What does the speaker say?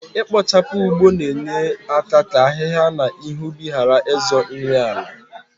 Ikpochapụ ụgbọ na enye aka ka ahịhịa na ihe ubi gharị ịzọ nri ala